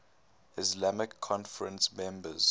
islamic conference members